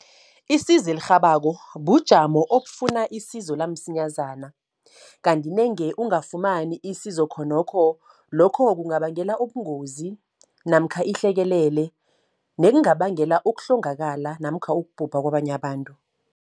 Isizo elirhabako bujamo obufuna isizo lamsinyazana. Kanti nange ungafumani isizo khonokho, lokho kungabangela ubungozi namkha ihlekelele. Nekungabangela ukuhlongakala namkha ukubhubha kwabanye abantu.